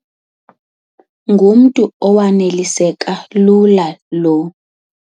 Ngumntu owaneliseka lula lo.